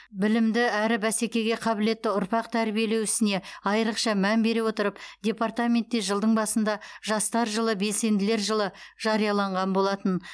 білімді әрі бәсекеге қабілетті ұрпақ тәрбиелеу ісіне айрықша мән бере отырып департаментте жылдың басында жастар жылы белсенділер жылы жарияланған болатын